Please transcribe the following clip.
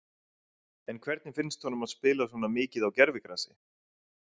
En hvernig finnst honum að spila svo mikið á gervigrasi?